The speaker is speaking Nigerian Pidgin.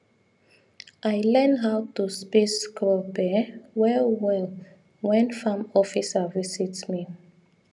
i learn how to space crop um well well when farm officer visit me